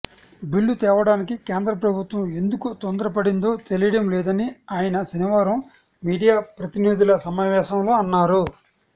bill తేవడానికి కేంద్ర ప్రభుత్వం ఎందుకు తొందరపడిందో తెలియడం లేదని ఆయన శనివారం మీడియా ప్రతినిధుల సమావేశంలో అన్నారు